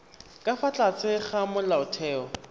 ka fa tlase ga molaotheo